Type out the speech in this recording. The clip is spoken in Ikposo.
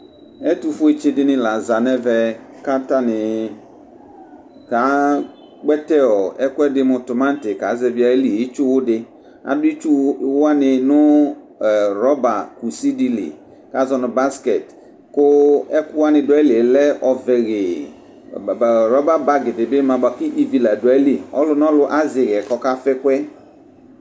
Ɛtʋfuetsi dini laza nʋ ɛvɛ atani ka kpɛtɛ ɛkʋɛdi mʋ tʋmati kʋ aka zɛvi itsuwu di adʋ itsuwʋ wani nʋ rɔba kʋsi dili kʋ azɔnʋ basket kʋ ɛkʋ wani dʋ ayili lɛ ɔvɛ hee rɔba bagi dibi ma kʋ ivi ladʋ ayili kʋ ɔlʋ nʋ ɔlʋ azɛ ixɛ kʋ ɔkafa ɛkʋ yɛ